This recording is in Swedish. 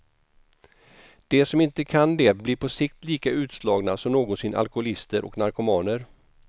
De som inte kan det blir på sikt lika utslagna som någonsin alkoholister och narkomaner.